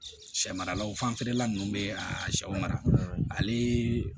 Sɛ maralaw fanfɛla nunnu bɛ a sɛw mara ale